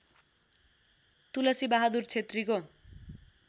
Tulsi Bahadur क्षेत्रीको